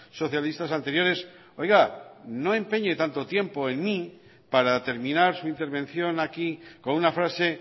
socialistas anteriores oiga no empeñe tanto tiempo en mí para terminar su intervención aquí con una frase